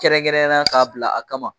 Kɛrɛnkɛrɛnnenya na k'a bila a kama .